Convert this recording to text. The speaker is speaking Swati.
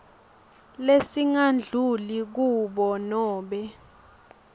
lesingadluli kur nobe